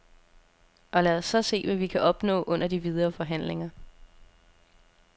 Og lad os så se, hvad vi kan opnå under de videre forhandlinger.